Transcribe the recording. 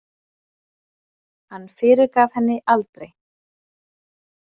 Hann fyrirgaf henni aldrei.